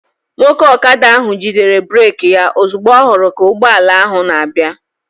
Nwoke ọkada ahụ jidere breeki ya ozugbo ọ hụrụ ka ụgbọala ahụ na-abịa